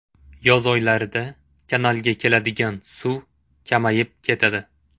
Yoz oylarida kanalga keladigan suv kamayib ketadi.